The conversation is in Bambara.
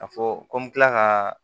A fɔ ko n bɛ kila ka